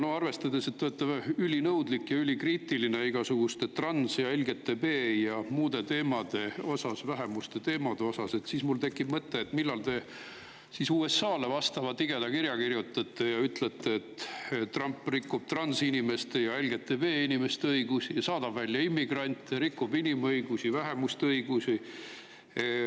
Aga arvestades, et te olete ülinõudlik ja ülikriitiline igasuguste trans‑ ja LGBT‑ ja muude teemade osas, vähemuste teemade osas, siis mul tekib mõte, millal te siis USA-le tigeda kirja kirjutate ja ütlete, et Trump rikub transinimeste ja LGBT‑inimeste õigusi ja saadab välja immigrante, rikub inimõigusi, vähemuste õigusi.